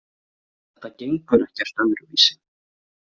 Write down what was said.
Þetta gengur ekkert öðruvísi.